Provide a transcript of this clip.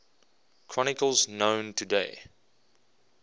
chronicles known today